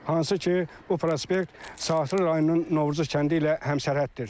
Hansı ki, bu prospekt Saatlı rayonunun Novruzlu kəndi ilə həmsərhəddir.